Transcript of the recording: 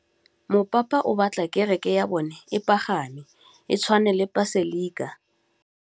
Mopapa o batla kereke ya bone e pagame, e tshwane le paselika.